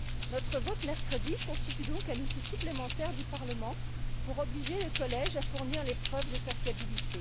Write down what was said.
Notre vote de mercredi constitue donc un outil supplémentaire du Parlement pour obliger le Collège à fournir les preuves de sa fiabilité.